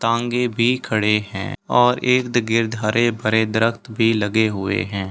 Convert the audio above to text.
टांगे भी खड़े हैं और इर्द-गिर्द हरे-भरे दरख़्त भी लगे हुए हैं।